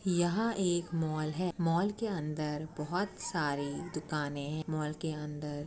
यहाँ एक मॉल है। मॉल के अंदर बहोत सारी दुकानें ह्। मॉल के अंदर --